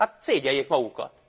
Hát szégyelljék magukat!